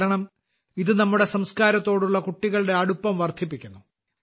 കാരണം ഇത് നമ്മുടെ സംസ്കാരത്തോടുള്ള കുട്ടികളുടെ അടുപ്പം വർദ്ധിപ്പിക്കുന്നു